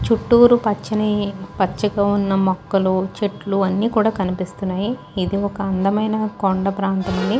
చుట్టూరు పచ్చని పచ్చిగా ఉన్న మొక్కలు చెట్లు అని కూడా కనిపిస్తున్నాయి ఇది ఒక అందమైన కొండ ప్రాంతం ని --